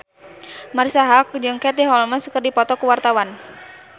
Marisa Haque jeung Katie Holmes keur dipoto ku wartawan